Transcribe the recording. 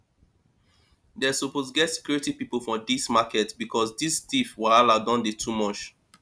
dem suppose get security people for dis market because dis thief wahala don dey too much